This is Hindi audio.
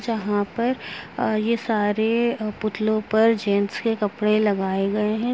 जहां पर यह सारे पुतलो पर जेंट्स के कपड़े लगाए गए हैं।